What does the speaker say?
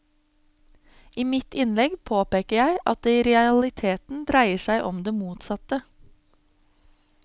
I mitt innlegg påpeker jeg at det i realiteten dreier seg om det motsatte.